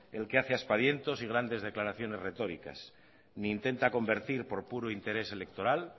el que hace aspavientos y grandes declaraciones retóricas ni intenta convertir por puro interés electoral